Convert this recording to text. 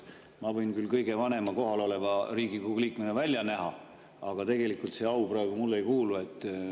Ma võin küll kõige vanema kohaloleva Riigikogu liikmena välja näha, aga tegelikult see au praegu mulle ei kuulu.